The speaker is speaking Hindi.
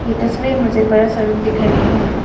ये तस्वीर मुझे बड़ा सा रूम दिख रही है।